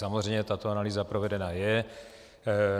Samozřejmě tato analýza provedena je.